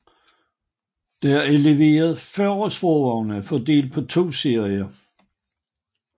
Der er leveret 40 sporvogne fordelt på to serier